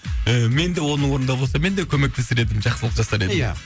і менде оның орнында болсам менде көмектесер едім жақсылық жасар едім ия